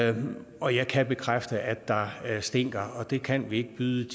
ane og jeg kan bekræfte at der stinker og det kan vi ikke byde